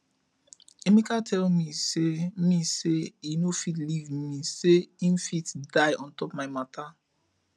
emeka tell me say me say e no fit leave me say im fit die on top my matter